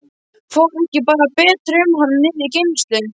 Fór ekki bara betur um hana niðri í geymslu.